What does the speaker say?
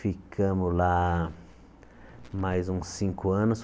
Ficamos lá mais uns cinco anos.